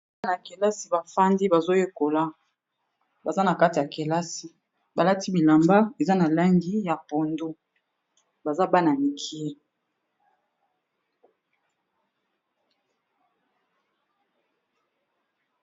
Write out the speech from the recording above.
Bana ya kelasi bafandi, bazoyekola baza na kati ya kelasi balati bilamba eza na langi ya pondu baza bana-mikie